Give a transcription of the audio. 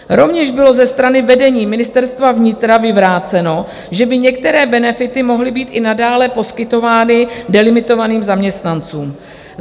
Rovněž bylo ze strany vedení Ministerstva vnitra vyvráceno, že by některé benefity mohly být i nadále poskytovány delimitovaným zaměstnancům.